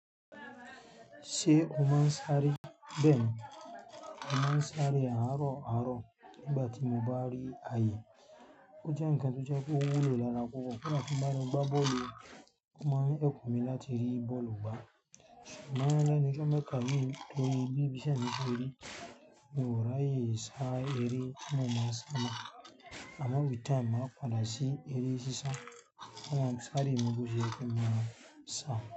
Ṣé o máa ń sáré? Bẹ́ẹ̀ni. Mo máa ń sáré àárọ̀ àárọ̀ nìgbà tí mo bá rí ayé. Ó jẹ́ ǹkan tó jẹ́ pé ó wúlò lára púpọ̀, kódá tí n bá lọ gbá bọ́ọ̀lù, ó máa help mi láti rí bọ́ọ̀lù gbá. Ṣùgbọ́n lónìí tó ń mẹ́kà mìí lórí bí bí íṣẹ́ mi ṣe rí, mo rà yí ṣá eré tí mo má ń sá mọ. Ṣùgbọ́n with time, máa padà sí eré sísá, n ó mọ sáré mìí bó ṣe yẹ kí n máa sá.